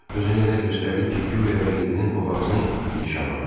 Özünü elə göstərdi ki, guya rəqibinin boğazını nişan alır.